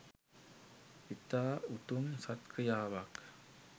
ඉතා උතුම් සත් ක්‍රියාවක්